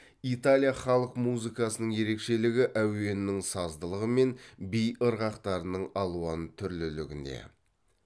италия халық музыкасының ерекшелігі әуенінің саздылығы мен би ырғақтарының алуан түрлілігінде